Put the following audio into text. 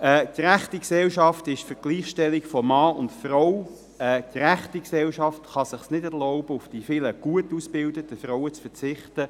Eine gerechte Gesellschaft ist für die Gleichstellung von Mann und Frau, und eine gerechte Gesellschaft kann es sich nicht erlauben, auf die vielen gut ausgebildeten Frauen zu verzichten.